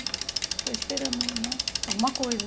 Estou esperando, né, alguma coisa.